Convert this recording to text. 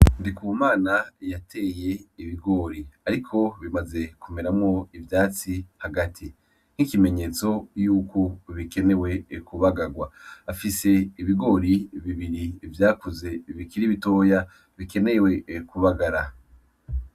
Ndikumana yateye ibigori, ariko bimaze kumeramwo ivyatsi hagati nkikimenyetso yuko bikenewe kubagarwa , afise ibigori bibiri vyakuze bikiri bitoya bikenewe kubagara.